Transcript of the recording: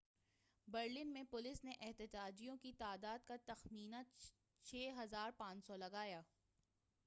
Berlin میں police نے احتجاجیوں کی تعداد کا تخمینہ 6,500 لگایا